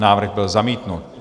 Návrh byl zamítnut.